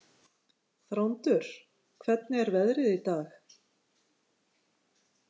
Þrándur, hvernig er veðrið í dag?